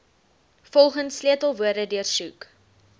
volgens sleutelwoorde deursoek